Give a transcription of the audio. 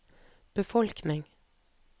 befolkning